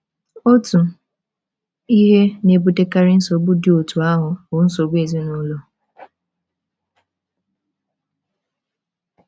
Otu ihe na - ebutekarị nsogbu dị otú ahụ bụ nsogbu ezinụlọ.